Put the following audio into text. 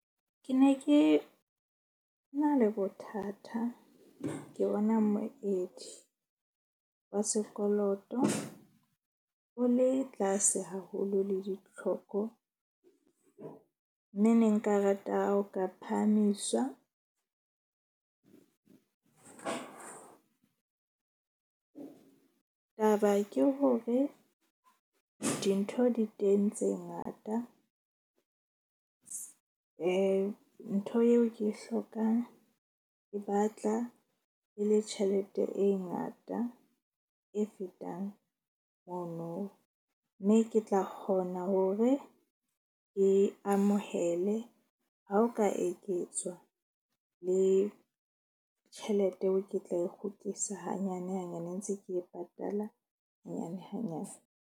Ke ne ke na le bothata ke bona moedi wa sekoloto o le tlase haholo le ditlhoko. Mme ne nka rata ha o ka phahamiswa. Taba ke hore dintho di teng tse ngata ntho yeo ke hlokang e batla e le tjhelete e ngata. E fetang mono, mme ke tla kgona hore ke amohele, ha o ka eketswa le tjhelete eo ke tla e kgutlisa hanyane hanyane ntse ke e patala hanyane hanyane.